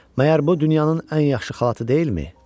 Məyər bu dünyanın ən yaxşı xalatı deyilmi?